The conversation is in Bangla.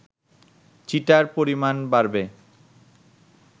চিটার পরিমাণ বাড়বে